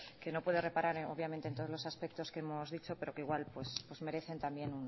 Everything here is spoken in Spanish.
que no pueda reparar obviamente en todos los aspectos que hemos dicho pero que igual pues merecen también